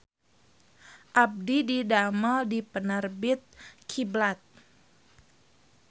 Abdi didamel di Penerbit Kiblat